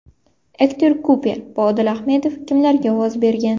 Ektor Kuper va Odil Ahmedov kimlarga ovoz bergan?.